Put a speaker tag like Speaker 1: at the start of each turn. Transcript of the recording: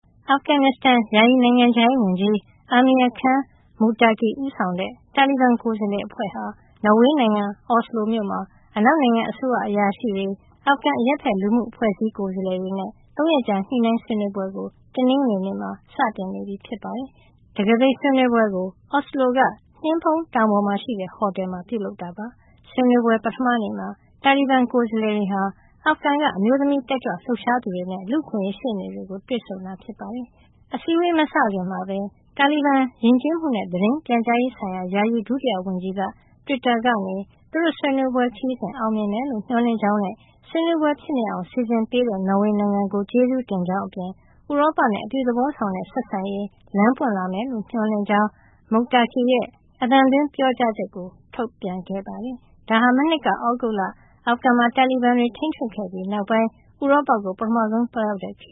Speaker 1: အာဖဂန်နစ္စတန် ယာယီနိုင်ငံခြားရေးဝန်ကြီး Amir Khan Muttaqi ဦးဆောင်တဲ့ တာလီဘန် ကိုယ်စားလှယ်အဖွဲ့ဟာ နော်ဝေနိုင်ငံ အော်စလိုမြို့မှာ အနောက်နိုင်ငံ အစိုးရအရာရှိတွေ၊ အာဖဂန် အရပ်ဘက်လူမှုအဖွဲ့အစည်း ကိုယ်စားလှယ်တွေနဲ့ ၃ ရက်ကြာ ညှိနှိုင်းဆွေးနွေးပွဲကို တနင်္ဂွေနေ့မှာ စတင်နေပြီ ဖြစ်ပါတယ်။ တံခါးပိတ်ဆွေးနွေးပွဲကို အော်စလိုက နှင်းဖုံးတောင်ပေါ်မှာရှိတဲ့ ဟိုတယ်မှာ ပြုလုပ်တာပါ။ ဆွေးနွေးပွဲ ပထမနေ့မှာ တာလီဘန် ကိုယ်စားလှယ်တွေဟာ အာဖဂန်နိုင်ငံက အမျိုးသမီး တက်ကြွလှုပ်ရှားသူတွေနဲ့ လူ့အခွင့်အရေး ရှေ့နေတွေကို တွေ့ဆုံတာ ဖြစ်ပါတယ်။ အစည်းအဝေး မစခင်မှာပဲ တာလီဘန် ယဉ်ကျေးမှုနဲ့ သတင်းပြန်ကြားရေးဆိုင်ရာ ယာယီဒုတိယဝန်ကြီးက တွစ်တာကနေ သူတို့ဆွေးနွေးပွဲ ခရီးစဉ် အောင်မြင်မယ်လို့ မျှော်လင့်ကြောင်းနဲ့ ဆွေးနွေးပွဲဖြစ်မြောက်အောင် စီစဉ်ပေးတဲ့ နော်ဝေနိုင်ငံကို ကျေးဇူးတင်ကြောင်းအပြင် ဥရောပနဲ့ အပြုသဘောဆောင်တဲ့ ဆက်ဆံရေး လမ်းပွင့်လာမယ်လို့ မျှော်လင့်ကြောင်း Muttaqi ရဲ့ အသံသွင်းပြောကြားချက်ကို ထုတ်ပြန်ခဲ့ပါတယ်။ ဒါဟာ မနှစ်က သြဂုတ်လ အာဖဂန်မှာ တာလီဘန်တွေ ထိန်းချုပ်ခဲ့ပြီးနောက်ပိုင်း ဥရောပကို ပထမဆုံး သွားရောက်တဲ့ ခ